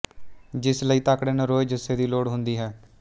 ਜਿਸ ਲਈ ਤਕੜੇ ਨਰੋਏ ਜੁੱਸੇ ਦੀ ਲੋੜ ਹੁੰਦੀ ਹੈ